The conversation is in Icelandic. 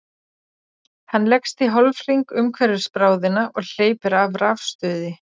Hann leggst í hálfhring umhverfis bráðina og hleypir af rafstuði.